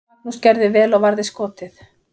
Magnús gerði vel og varði skotið.